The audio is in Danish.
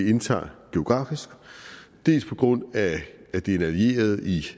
indtager geografisk dels på grund af at det er en allieret i